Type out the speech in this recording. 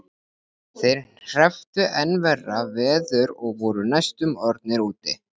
Þeir hrepptu enn verra veður og voru næstum orðnir úti.